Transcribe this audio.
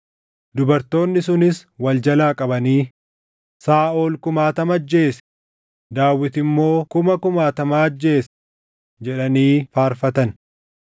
Dubartoonni sunis wal jalaa qabanii: “Saaʼol kumaatama ajjeese; Daawit immoo kuma kumaatamaa ajjeese” jedhanii faarfatan.